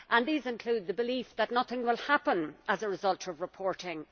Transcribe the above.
These include the belief that nothing will happen as a result of reporting